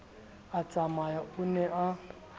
a tsamaya o ne a